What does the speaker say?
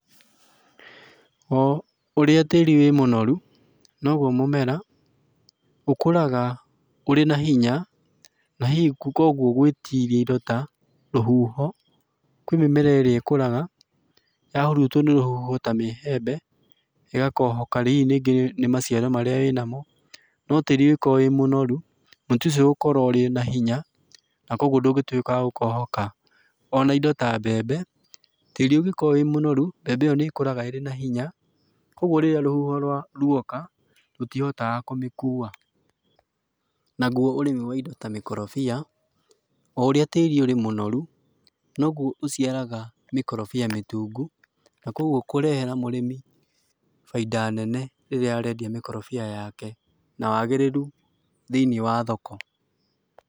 oũria tĩĩri wĩ mũnoru, noguo mũmera ũkũraga ũrĩ na hinya na hihi kwoguo gwĩtiria indo ta rũhũho, kwĩ mĩmera ĩria ĩkũraga ya hũrũtwo nĩ rũhũho ta mĩhembe, ĩgakohoka hihi rĩngĩ nĩ maciaro marĩa ĩnamo, no tĩĩri ũngĩkorwo wĩ mũnorũ, mũtĩ ũcio ũgũkorwo ũrĩ nahinya na kwoguo ndũngĩtwĩka wa gũkohoka, ona indo ta mbembe, tĩĩri ũngĩkorwo wĩmũnoru, mbembe ĩyo nĩkũraga ĩrĩ na hinya kwoguo rĩrĩa rũhũho rwoka, rũtihotaga kũmĩkũwa, naguo ũrĩmi wa indo mĩkorobia, oũrĩa tĩĩri ũri mũnoru, noguo ũciaraga mĩkorobia mĩtũngũ, na kwoguo kũrehera mũrĩmi bainda nene rĩrĩa arendia mĩkorobia yake, na wagĩrĩru thĩiniĩ wa thoko.